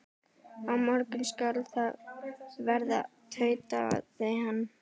Á morgun skal það verða, tautaði hann.